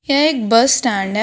यह एक bus stand है।